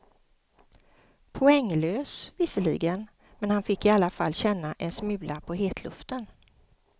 Poänglös, visserligen, men han fick i alla fall känna en smula på hetluften.